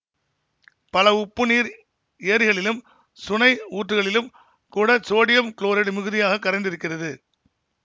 பல உப்பு நீர் ஏரிகளிலும் சுனை ஊற்றுக்களிலும் கூட சோடியம் குளோரைடு மிகுதியாக கரைந்திருக்கிறது